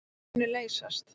Þau munu leysast.